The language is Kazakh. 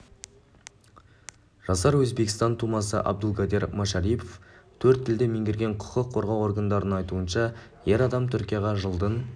жасар өзбекстан тумасы абдулгадир машарипов төрт тілді меңгерген құқық қорғау органдарының айтуынша ер адам түркияға жылдың